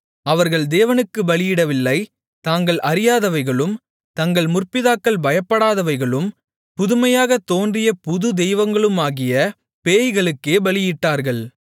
அவர்கள் தேவனுக்குப் பலியிடவில்லை தாங்கள் அறியாதவைகளும் தங்கள் முற்பிதாக்கள் பயப்படாதவைகளும் புதுமையாகத் தோன்றிய புது தெய்வங்களுமாகிய பேய்களுக்கே பலியிட்டார்கள்